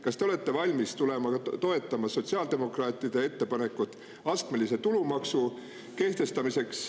Kas te olete valmis ka toetama sotsiaaldemokraatide ettepanekut kehtestada astmeline tulumaks?